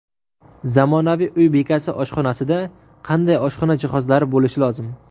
Zamonaviy uy bekasi oshxonasida qanday oshxona jihozlari bo‘lishi lozim?